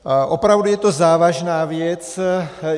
Opravdu je to závažná věc.